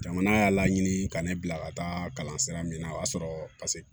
Jamana y'a laɲini ka ne bila ka taa kalan sira min na o y'a sɔrɔ